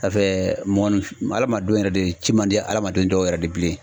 mɔgɔninfin hadamadenw yɛrɛ de ci man di hadamaden dɔw yɛrɛ de bilen.